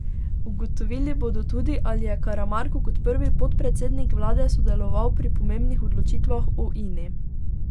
Ugotovili bodo tudi, ali je Karamarko kot prvi podpredsednik vlade sodeloval pri pomembnih odločitvah o Ini.